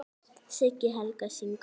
Siggi Helga: Syngur?